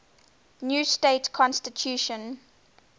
new state constitution